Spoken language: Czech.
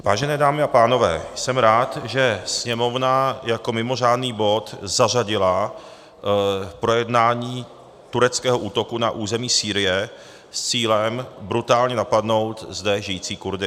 Vážené dámy a pánové, jsem rád, že Sněmovna jako mimořádný bod zařadila projednání tureckého útoku na území Sýrie s cílem brutálně napadnout zde žijící Kurdy.